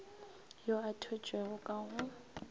yo a thwetšwego ka go